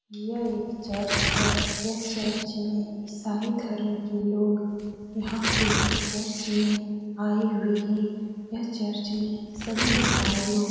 यह एक चर्च है। यह चर्च में ईसाई धर्म के लोग यहाँ पे चर्च में आए हुए हैं। यह चर्च में सभी ईसाई लोग --